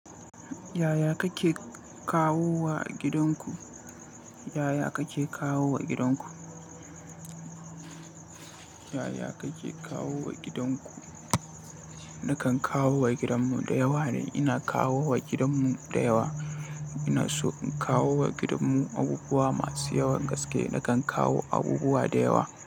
Yaya kake kawowa a gidanku? Yaya kake kawowa gidanku? Yaya kake kawowa gidanku? Nakan kawo wa gidanmu da yawa ne. Ina kawo wa gidanmu da yawa. Ina so in kawo wa gidanmu abubuwa masu yawan gaske. Nakan kawo abubuwa da yawa.